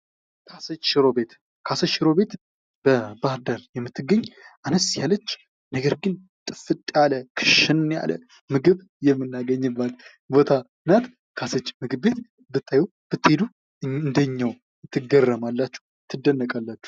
ካሰች ሽሮ ቤት ካሴት ሽሮ ቤት ባህር ዳር የምትገኝ አነስ ያለች ነገር ግን ያለ ጥፍት ያለ ክሽን ያለ ምግብ የምናገኝበት ቦታና ናት ካሰች ምግብ ቤት በትሄዱ አንደኛው ትግረማላችሁ ትደነቃላችሁ።